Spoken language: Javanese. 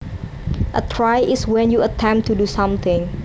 A try is when you attempt to do something